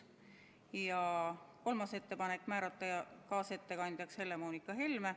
Ja kolmas ettepanek: määrata kaasettekandjaks Helle-Moonika Helme.